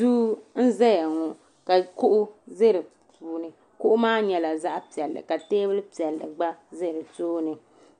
Duu n zaya ŋɔ ka Kuɣu bɛ di puuni Kuɣu maa nyɛla zaɣi piɛlli ka tɛɛbuli piɛli gba zaya di tooni